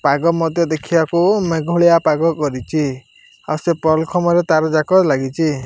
ପାଗ ମଧ୍ୟ ଦେଖିବାକୁ ମେଘୁଳିଆ ପାଗ କରିଛି ସେ ପଲଖମ୍ବରେ ତାର ଯାକ ଲାଗିଛି।